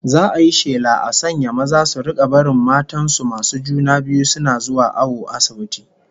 Za'a yi shela a sanya maza su rika barin matan masu juna biyu suna zuwa awo asibiti